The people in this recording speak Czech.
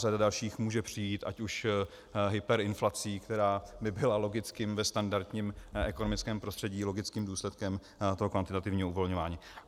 Řada dalších může přijít, ať už hyperinflací, která by byla logicky ve standardním ekonomickém prostředí logickým důsledkem toho kvantitativního uvolňování.